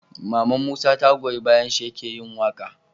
Maman musa ta goyi bayan shi yake yin waƙa